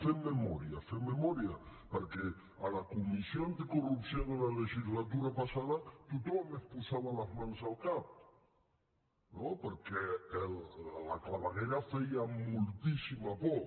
fem memòria fem memòria perquè a la comissió anticorrupció de la legislatura passada tothom es posava les mans al cap no perquè la claveguera feia moltíssima pudor